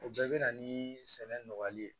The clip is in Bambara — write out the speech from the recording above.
O bɛɛ bɛ na ni sɛnɛ nɔgɔyali ye